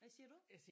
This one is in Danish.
Hvad siger du?